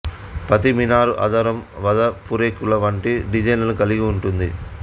ప్రతీ మీనార్ ఆధారం వద పూరేకుల వంటి డిజైన్లను కలిగి ఉంటుంది